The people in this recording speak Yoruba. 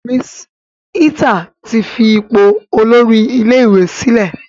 Mrs Ita tí fí ipò Olórí ilé ìwé sílè.